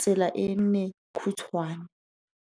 tsela e nne khutshwane.